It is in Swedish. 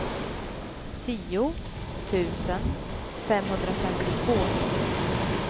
tio tusen femhundrafemtiotvå